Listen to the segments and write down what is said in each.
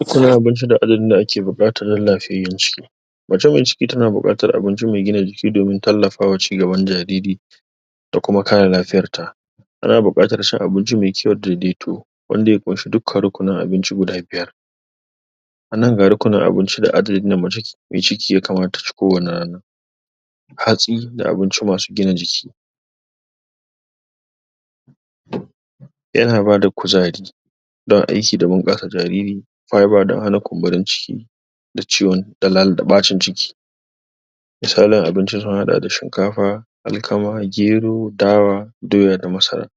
Uku na abinci da ajerin da ake bukata da lafiyayen jiki matumar jiki ta na bukata abinci mai gina jiki domin tallafawa cigaban jariri da kuma kara lafiyar ta a na bukatar cin abinci mai kyau dadai toh, wanda ya fanci duk? na abinci guda biyar, a nan? mai ciki ya kamata ta ci ko wani rana. hatsi da abinci masu gina jiki Ya na ba da kuzari da aiki domin kasa jariri, fibre da hana kunburin ciki da ciwo da baccin ciki. Misalin abincin sun hada da shinkafa, alkama, gero, dawa, doya da masara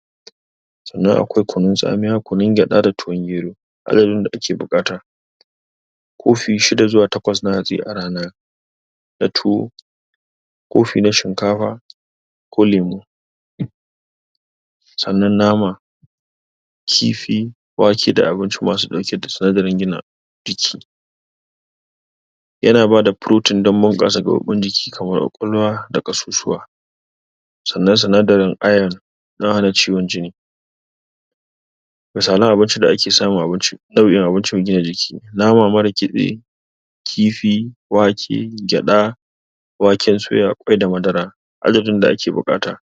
tsanan akwai kunun tsamiya, gunun geda da tuwon gero, alayaho da ake bukata. Kofi shida zuwa takwas na hantsi a rana, da tuwo kofi na shinkafa ko lemu. Sanan nama, kifi wake da abinci ma su dauke da sadarin gina jiki. yana ba da protein don mur kasa guraban jiki kaman kwakwalwa da kassussuwa, tsana-tsana da iron na hana ciwon jini sana abun ci da ake samu a abinci, da bi abincin gina jiki, nama mara kitse, kifi, wake, geda waken tsoya, kwai da madara. Alajin da ake bukata,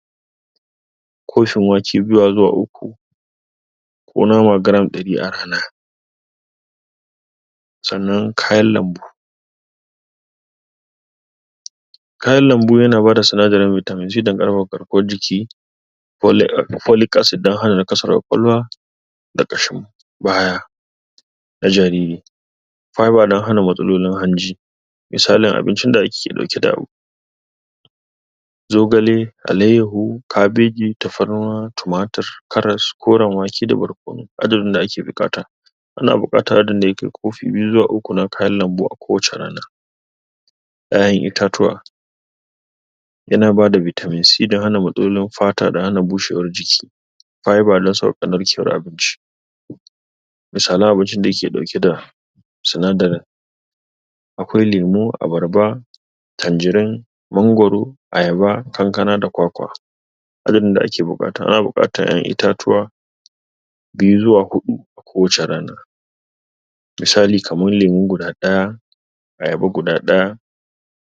kofin wake biyu zuwa uku ko nama gram dari a rana, sanan kayan lambu kayan lambu yana bada tsana vitamin c don karkon jiki folic acid don hana na kasar kwakwalwa, da kashin baya na jariri fibre na hana matsololin hanji. Mitsali abinci da ake dauke da abu zogale, allayeho, kabeji, tafarnua, tumatur, carros koran wake da barkono. Addirin da ake bukata, a na bukata addirin da yi ke kofi biyu zuwa uku na kayan lambu a kowace rana ƴaƴan itatuwa ya na ba da vitamin c da hana matoliyon fata da hana bushewar jiki. Fibre na sauka narke ciyar abinci misalai abinci da ya ke dauke da sanar da akwai lemu, abarba, tanjarin, mangoro, ayaba, kankana da kwakwa. Abin da ake bukata, ana bukata itatuwa biyu zuwa hudu ko wacce rana misali kamar lemu guda daya ayaba guda daya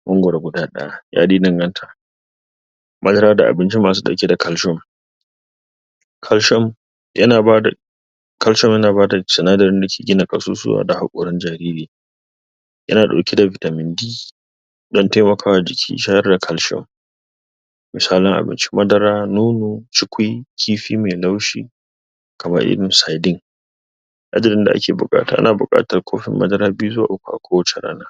mangoro guda daya. Yadai danganta, madara da abinci masu dauke da calcium. .Calcium ya na bada calcium ya na bada cina da yake bada kassussuwa da haorin jariri Ya na dauke da vitamin d dan taimakawa jiki sharre calcium, su sha na abinci, madara nono, chikwis, kifi mai laushi kamar irin saidin ajerin da ake bukata. A na bukata kofin madara biyu zuwa uku a kowace rana.